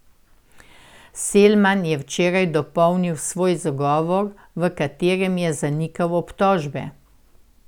Selman je včeraj dopolnil svoj zagovor, v katerem je zanikal obtožbe.